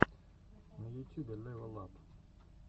на ютюбе лэвал ап